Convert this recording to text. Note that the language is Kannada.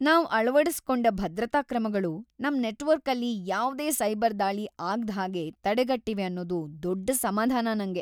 ನಾವ್‌ ಅಳವಡಿಸ್ಕೊಂಡ ಭದ್ರತಾ ಕ್ರಮಗಳು ನಮ್ ನೆಟ್‌ವರ್ಕಲ್ಲಿ ಯಾವ್ದೇ ಸೈಬರ್‌ ದಾಳಿ ಆಗ್ದ್‌ಹಾಗೆ ತಡೆಗಟ್ಟಿವೆ ಅನ್ನೋದು ದೊಡ್ಡ್‌ ಸಮಾಧಾನ ನಂಗೆ.